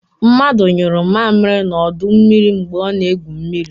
Mmadu nyuru mmamịrị n'ọdọ mmiri mgbe ọ na-egwu mmiri.